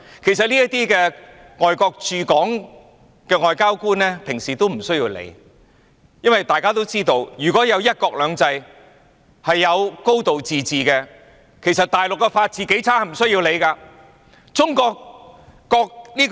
其實，對於這些問題，外國的駐港外交官平常是無須理會的，因為大家也知道，如果有"一國兩制"和"高度自治"，即使大陸的法治是多麼的差劣也不用理會。